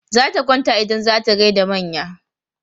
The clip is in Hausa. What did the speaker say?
Zata kwanta idan za ta gai da manya.